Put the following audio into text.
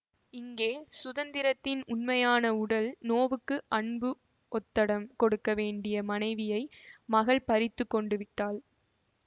இங்கே சுந்தரத்தின் உண்மையான உடல் நோவுக்கு அன்பு ஒத்தடம் கொடுக்க வேண்டிய மனைவியை மகள் பறித்து கொண்டு விட்டாள்